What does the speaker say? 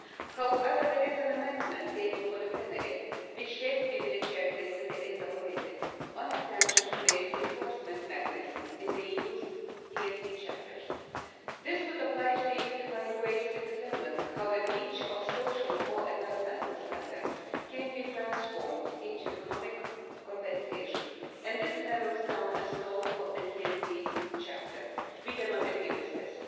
However, there is an amendment tabled for the plenary, which has been rejected in the INTA Committee, on a sanctions based enforcement mechanism in the EU's TSD chapters. This would oblige the EU to find ways to determine how a breach of social or environmental standards can be transformed into economic compensation and this narrows down the scope of the TSD chapter. We cannot agree with this.